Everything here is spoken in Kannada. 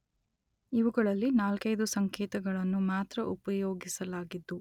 ಇವುಗಳಲ್ಲಿ ನಾಲ್ಕೈದು ಸಂಕೇತಗಳನ್ನು ಮಾತ್ರ ಉಪಯೋಗಿಸಲಾಗಿದ್ದು